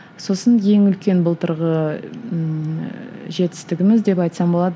сосын ең үлкен былтырғы ыыы жетістігіміз деп айтсам болады